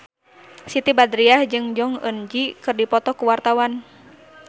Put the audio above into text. Siti Badriah jeung Jong Eun Ji keur dipoto ku wartawan